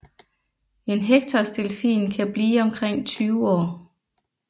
En Hectors delfin kan blive omkring 20 år